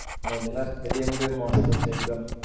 Modhera stadium ભી મસ્ત છે એક્દમ